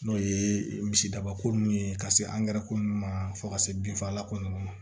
N'o ye misidabako nun ye ka se angɛrɛ ko ninnu ma fo ka se binfagalan ko ninnu ma